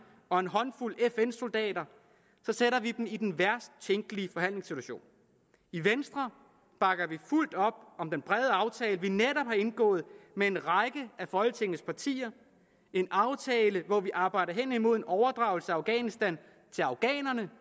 og en håndfuld fn soldater sætter vi dem i den værst tænkelige forhandlingssituation i venstre bakker vi fuldt op om den brede aftale vi netop har indgået med en række af folketingets partier en aftale hvor vi arbejder hen imod en overdragelse af afghanistan til afghanerne